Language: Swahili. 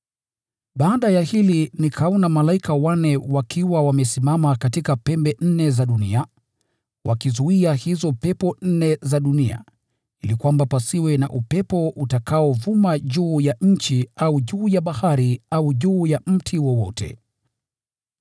Baada ya hili nikaona malaika wanne wakiwa wamesimama katika pembe nne za dunia, wakizuia hizo pepo nne za dunia, ili kwamba pasiwe na upepo utakaovuma juu ya nchi au juu ya bahari au juu ya mti wowote.